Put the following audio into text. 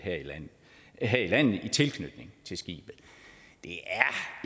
her i landet i tilknytning til skibet det